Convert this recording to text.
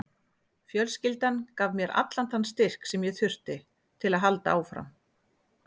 Fjölskyldan gaf mér alltaf þann styrk sem ég þurfti til að halda áfram.